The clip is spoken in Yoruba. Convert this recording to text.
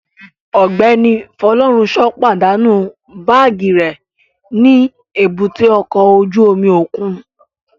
Ọgbẹni Funsho padanu baagi rẹ ni èbúté ọkọ ojú omi okun